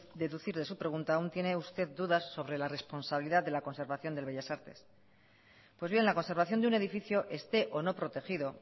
puedo deducir de su pregunta aún tiene usted dudas sobre la responsabilidad de la conservación del bellas artes pues bien la conservación de un edificio esté o no protegido